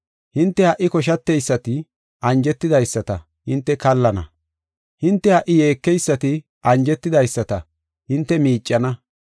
Hinte ha77i koshateysati anjetidaysata, hinte kallana. Hinte ha77i yeekeysati anjetidaysata hinte miicana.